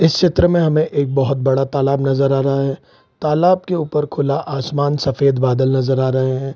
इस चित्र में हमें एक बहुत बड़ा तालाब नजर आ रहा है तालाब के ऊपर खुला आसमान सफ़ेद बदल नजर आ रहे हैं।